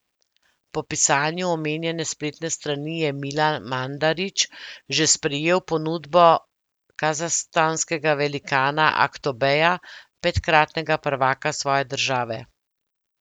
Po pisanju omenjene spletne strani je Milan Mandarić že sprejel ponudbo kazahstanskega velikana Aktobeja, petkratnega prvaka svoje države.